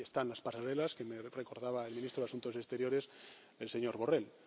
no. Ahí están las pasarelas que me recordaba el ministro de Asuntos Exteriores, el señor Borrell.